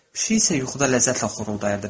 Pişik isə yuxuda ləzzətlə xoruldayırdı.